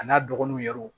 A n'a dɔgɔninw yɛrɛrw